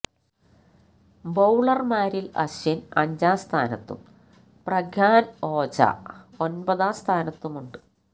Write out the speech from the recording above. ബൌളര്മാരില് അശ്വിന് അഞ്ചാം സ്ഥാനത്തും പ്രഗ്യാന് ഓജ ഒമ്പതാം സ്ഥാനത്തുമുണ്ട്